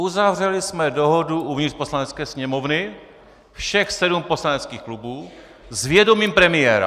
Uzavřeli jsme dohodu uvnitř Poslanecké sněmovny, všech sedm poslaneckých klubů, s vědomím premiéra.